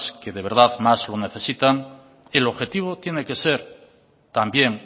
que de verdad más lo necesitan el objetivo tiene que ser también